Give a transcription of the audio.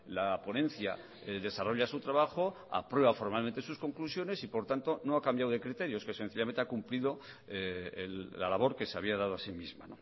la ponencia desarrolla su trabajo aprueba formalmente sus conclusiones y por tanto no ha cambiado de criterios que sencillamente ha cumplido la labor que se había dado a sí misma